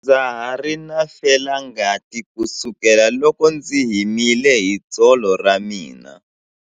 Ndza ha ri na felangati kusukela loko ndzi himile hi tsolo ra mina.